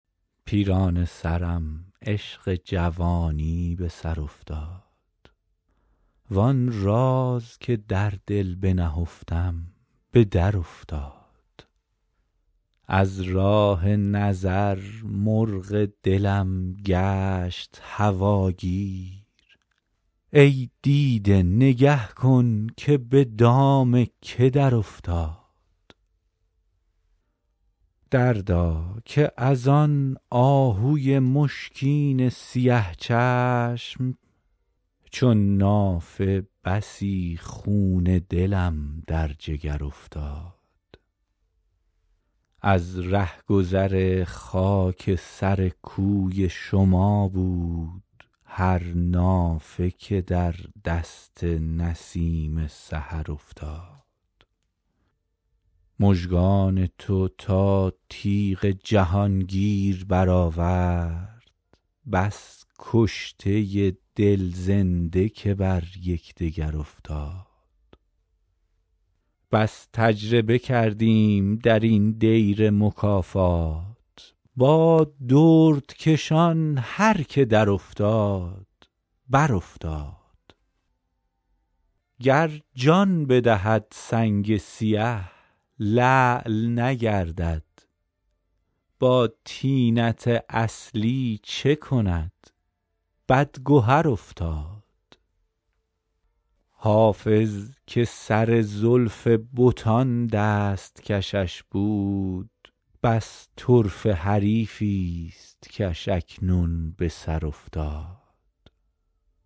پیرانه سرم عشق جوانی به سر افتاد وآن راز که در دل بنهفتم به درافتاد از راه نظر مرغ دلم گشت هواگیر ای دیده نگه کن که به دام که درافتاد دردا که از آن آهوی مشکین سیه چشم چون نافه بسی خون دلم در جگر افتاد از رهگذر خاک سر کوی شما بود هر نافه که در دست نسیم سحر افتاد مژگان تو تا تیغ جهانگیر برآورد بس کشته دل زنده که بر یکدگر افتاد بس تجربه کردیم در این دیر مکافات با دردکشان هر که درافتاد برافتاد گر جان بدهد سنگ سیه لعل نگردد با طینت اصلی چه کند بدگهر افتاد حافظ که سر زلف بتان دست کشش بود بس طرفه حریفی ست کش اکنون به سر افتاد